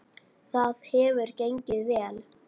Það hefur gengið vel.